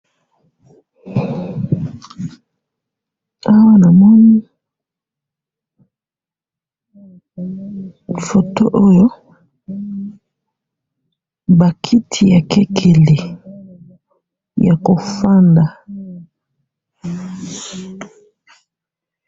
awa namoni, photo oyo, ba kiti ya kekele, ya kofanda